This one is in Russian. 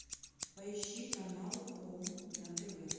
поищи канал хоум на тв